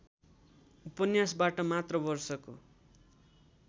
उपन्यासबाट मात्र वर्षको